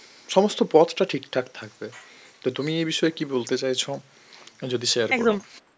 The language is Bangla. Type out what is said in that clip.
সমস্ত পথটা ঠিকঠাক থাকবে তো তুমি এ বিষয়ে কি বলতে চাইছো যদি share করো